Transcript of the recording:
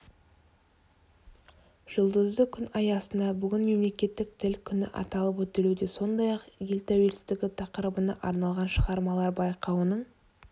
жұлдызды күн аясында бүгін мемлекеттік тіл күні аталып өтілуде сондай-ақ ел тәуелсіздігі тақырыбына арналған шығармалар байқауының